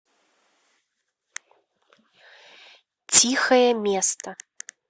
тихое место